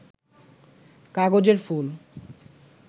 কাগজের ফুল